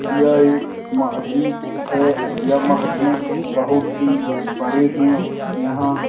यह एक महजिद है। यह महजिद बहुत ही बड़ी है यहाँ |